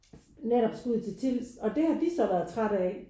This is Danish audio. Netop skulle ud til Tilst og det har de så været træt af